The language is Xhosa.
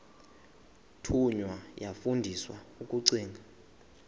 thunywa yafundiswa ukugcina